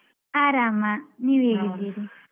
ಆರಾಮ, ನೀವ್ ಹೇಗಿದ್ದೀರಿ?